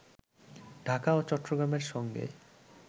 ঢাকা ও চট্টগ্রামের সঙ্গে